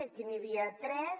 aquí n’hi havia tres